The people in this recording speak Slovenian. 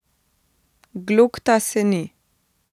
Glokta se ni.